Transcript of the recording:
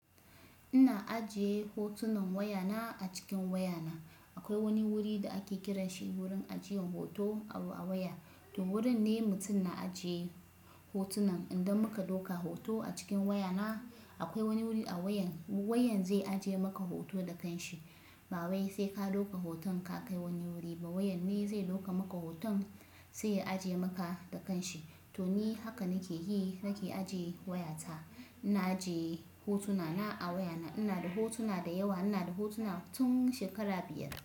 Ina ajiye hotunan wayana a cikin wayana. Akwai wani wuri da ake kiranshi wurin ajiyan hoto a waya. To wurin ne mutum na ajiye hotunan. Indan muka dauka hoto a cikin wayana, akwai wani wuri a wayan, wayan zai ajiye maka hoto da kanshi. Ba wai sai ka ɗauka hoton ka kai wani wuri ba wayan ne zai ɗauka maka hoton sai ya ajiye maka da kanshi. To ni haka nake yi, nake ajiye wayata. Ina ajiye hotunana a wayana. Ina da hotuna da yawa. Ina da hotuna tun shekara biyar.